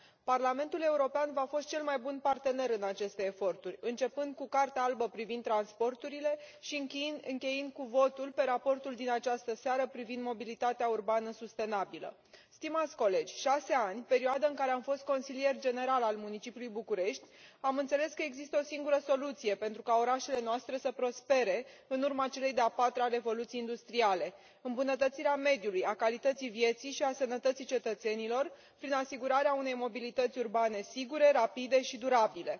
Parlamentul European v a fost cel mai bun partener în aceste eforturi, începând cu Cartea albă privind transporturile și încheind cu votul pe raportul din această seară privind mobilitatea urbană sustenabilă Stimați colegi, în cei șase ani în care am fost consilier general al Municipiului București am înțeles că există o singură soluție pentru ca orașele noastre să prospere în urma celei de a patra revoluții industriale îmbunătățirea mediului, a calității vieții și a sănătății cetățenilor prin asigurarea unei mobilități urbane sigure, rapide și durabile.